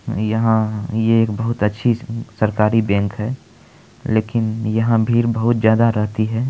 यहाँ ये एक बहुत अच्छी सरकारी बैंक है लेकिन यहाँ भीड़ बहुत ज्यादा रहती है।